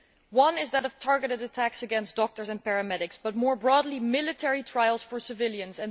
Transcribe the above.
One is that of targeted attacks against doctors and paramedics but, more broadly, military trials for civilians.